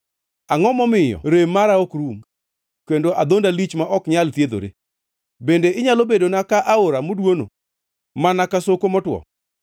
Angʼo momiyo rem mara ok rum kendo adhonda lich ma ok nyal thiedhore? Bende inyalo bedona ka aora modwono, mana ka soko motwo?